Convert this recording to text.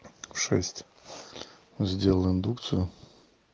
шесть сделай индукцию